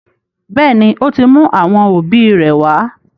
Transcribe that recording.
Béèni, o tí mú àwọn òbí ré wá.